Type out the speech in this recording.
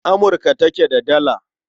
Amurka take da Dala.